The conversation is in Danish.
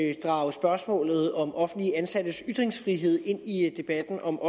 at drage spørgsmålet om offentligt ansattes ytringsfrihed ind i debatten om